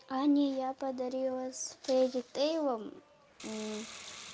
ане я подарила с фредди тэйлом